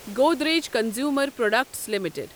Godrej Consumer Products limited